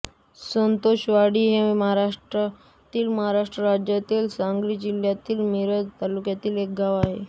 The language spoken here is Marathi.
संतोषवाडी हे भारतातील महाराष्ट्र राज्यातील सांगली जिल्ह्यातील मिरज तालुक्यातील एक गाव आहे